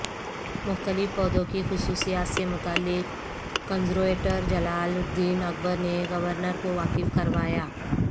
مختلف پودوں کی خصوصیات سے متعلق کنزرویٹر جلال الدین اکبر نے گورنر کو واقف کروایا